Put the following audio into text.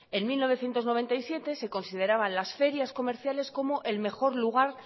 en mil novecientos noventa y siete se consideraban las ferias comerciales como el mejor lugar